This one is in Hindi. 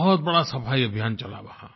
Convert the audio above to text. बहुत बड़ा सफाई अभियान चला वहाँ